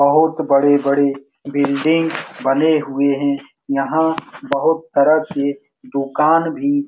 बहुत बड़ी-बड़ी बिल्डिंग बनी हुए है। यहाँ बहुत तरह की दूकान भी --